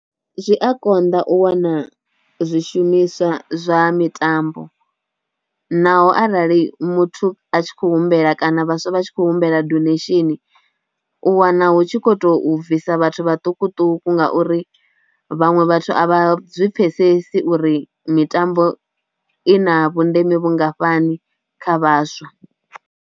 Zwi a konḓa u wana zwishumiswa zwa mitambo naho arali muthu a tshi khou humbela kana vhaswa vha tshi khou humbela donation u wana na hu tshi kho to bvisa vhathu maṱukuṱuku ngauri vhaṅwe vhathu a vha zwi pfhesesi uri mitambo i na vhundeme vhungafhani kha vhaswa.